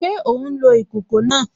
Ṣé ó n lo ìkòkò náà?